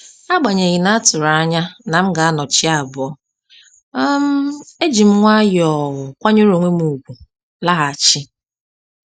Agbanyeghi na-atụrụ anya na m ga anọ chi abọ́, um ejim nwayọọ kwanyere onwem ùgwù laghachi